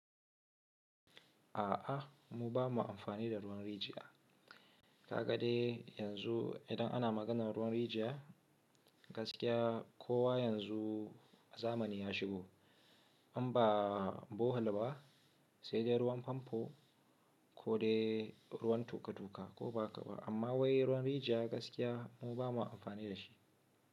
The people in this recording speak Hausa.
A'a mu ba mu amfani da ruwan rijiya. Ka gadai yanzu idan ana maganar ruwan rijiya gaskiya kowa yanzu zamani ya shigo. An ba bohol ba sai dai ruwan famfo ko dai ruwan toka-toka ko ba haka ba. Amma wai ruwan rijiya gaskiya mu ba mu amfani da shi.